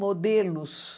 modelos.